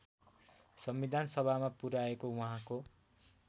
संविधानसभामा पुर्‍याएको उहाँको